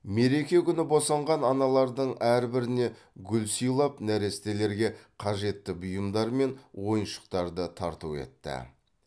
мереке күні босанған аналардың әрбіріне гүл сыилап нәрестелерге қажетті бұиымдар мен оиыншықтарды тарту етті